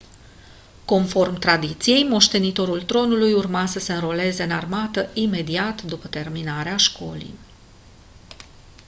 conform tradiției moștenitorul tronului urma să se înroleze în armată imediat după terminarea școlii